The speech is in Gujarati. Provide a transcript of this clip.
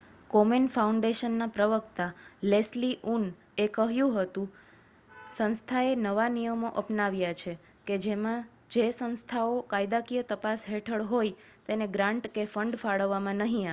કોમેન ફાઉન્ડેશનના પ્રવક્તા લેસ્લી ઉનએ કહ્યું કે સંસ્થાએ નવા નિયમો અપનાવ્યા છે કે જેમાં જે સંસ્થાઓ કાયદાકીય તપાસ હેઠળ હોય તેને ગ્રાન્ટ કે ફંડ ફાળવવામાં નહી આવે